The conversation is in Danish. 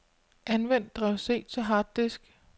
Anvend drev C til harddisk.